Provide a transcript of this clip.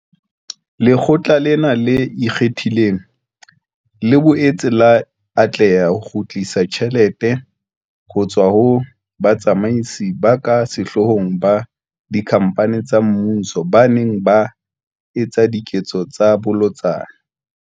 Lekgotlana lena le Ikgethileng, le boetse la atleha ho kgutlisa tjhelete ho tswa ho batsamaisi ba ka sehloohong ba dikhamphane tsa mmuso ba neng ba etsa diketso tsa bolotsana.